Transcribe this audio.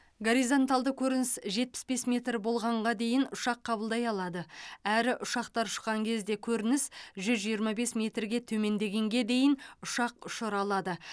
горизонталды көрініс жетпіс бес метр болғанға дейін ұшақ қабылдай алады әрі ұшақтар ұшқан кезде көрініс жүз жиырма бес метрге төмендегенге дейін ұшақ ұшыра алады